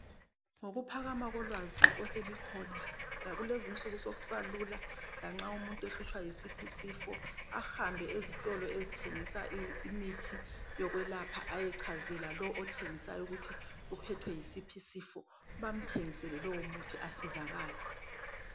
Ngokuphakama kolwazi oselukhona lakulezinsuku sekusiba lula lanxa umuntu ehlutshwa yisiphi isifo, ahambe ezitolo ezithengisa imithi yokwelapha ayechazela lo othengisayo ukuthi uphethwe yisiphi isifo bamthengisele lowomuthi asizakale.